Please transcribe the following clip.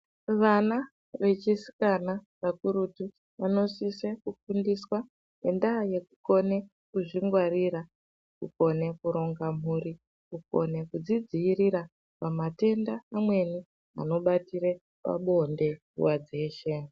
Vana vechisikana kakurutu vanosise kufundiswa ngendaa yekukone kuzvingwarira kugone kuronga mhuri, kugone kuzvidziirira pamatenda amweni anobatire pabonde nguwa dzeshe.